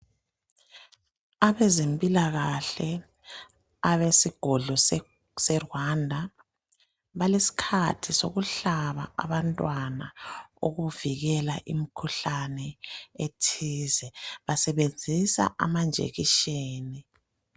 Abezempilakahle abesigodlo seGwanda balesikhathi sokuhlaba abantwana ukuvikela imkhuhlane ethize basebenzisa amajekiseni.